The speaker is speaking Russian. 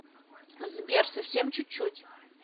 сбер совсем чуть чуть